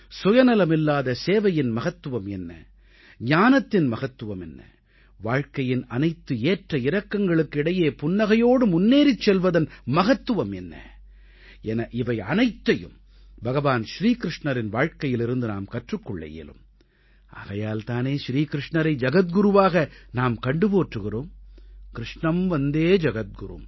சுயநலமில்லாத சேவையின் மகத்துவம் என்ன ஞானத்தின் மகத்துவம் என்ன வாழ்க்கையின் அனைத்து ஏற்ற இறக்கங்களுக்கு இடையே புன்னகையோடு முன்னேறிச் செல்வதன் மகத்துவம் என்ன என இவையனைத்தையும் பகவான் ஸ்ரீ க்ருஷ்ணரின் வாழ்க்கையிலிருந்து நாம் கற்றுக் கொள்ள இயலும் ஆகையால் தானே ஸ்ரீ க்ருஷ்ணரை ஜகத்குருவாக நாம் கண்டு போற்றுகிறோம் க்ருஷ்ணம் வந்தே ஜகத்குரும்